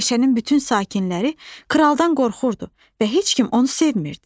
Meşənin bütün sakinləri kraldan qorxurdu və heç kim onu sevmirdi.